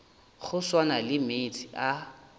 go swana le meetse a